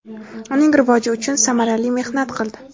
uning rivoji uchun samarali mehnat qildi.